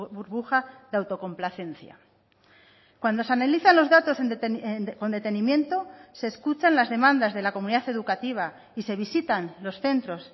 burbuja de autocomplacencia cuando se analizan los datos con detenimiento se escuchan las demandas de la comunidad educativa y se visitan los centros